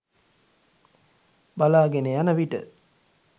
බලාගෙන යන විට